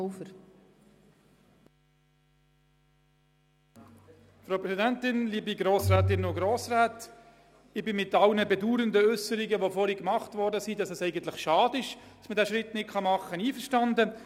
Ich bin mit allen bedauernden Äusserungen einverstanden, welche besagen, es sei schade, diesen Schritt nicht zu machen.